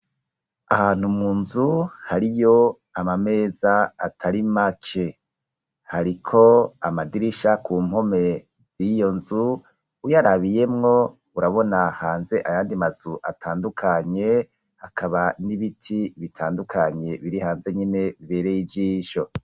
Ahantu munzu hariyo amameza atari make. Hariko amadirisha ku mpome z'iyo nzu uyarabiyemwo urabona hanze ayandi mazu atandukanye hakaba n'ibiti bitandukanye biri hanze nyine bibereye ijisho.